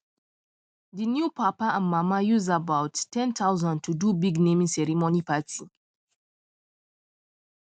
the new papa and mama use about 10000 to do big naming ceremony party